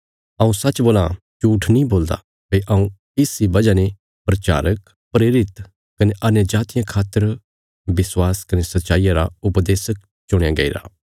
हऊँ सच्च बोलां झूट्ठ नीं बोलदा भई हऊँ इसा इ वजह ने प्रचारक प्रेरित कने अन्यजातियां खातर विश्वास कने सच्चाईया रा उपदेशक चुणया गईरा